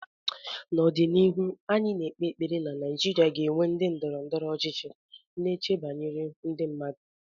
N'ọdịnihu, anyị na-ekpe ekpere na Nigeria ga-enwe ndị ndọrọ ndọrọ ọchịchị na-eche banyere ndị mmadụ